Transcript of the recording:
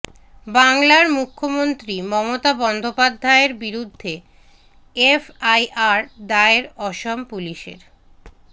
বাংলার মুখ্যমন্ত্রী মমতা বন্দ্যোপাধ্যায়ের বিরুদ্ধে এফআইআর দায়ের অসম পুলিশের